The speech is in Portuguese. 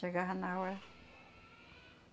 Chegava na hora.